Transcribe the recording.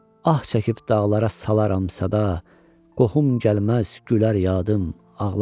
Ah çəkib dağlara salaram səda, qohum gəlməz, gülər yadım, ağlaram.